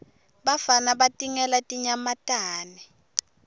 bafana batingela tinyamatane